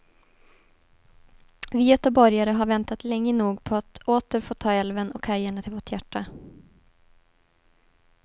Vi göteborgare har väntat länge nog på att åter få ta älven och kajerna till vårt hjärta.